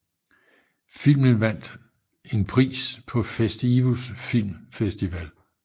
Filmen vandt vandt en pris på Festivus film festival